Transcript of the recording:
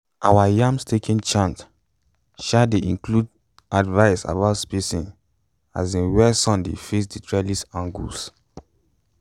our yam staking chant um dey include advice about spacing um where sun dey face and trellis angles